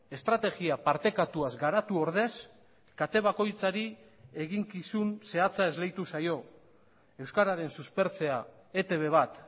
estrategia partekatuaz garatu ordez kate bakoitzari eginkizun zehatza esleitu zaio euskararen suspertzea etb bat